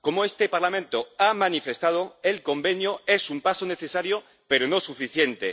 Como este Parlamento ha manifestado, el Convenio es un paso necesario, pero no suficiente.